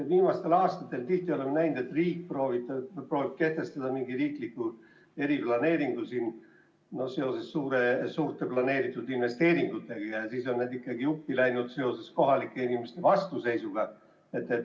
Viimastel aastatel oleme tihti näinud, et riik proovib kehtestada mingi riikliku eriplaneeringu seoses suurte vajalike investeeringutega, aga need on ikkagi uppi läinud kohalike inimeste vastuseisu tõttu.